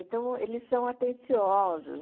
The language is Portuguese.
Então, eles são atenciosos.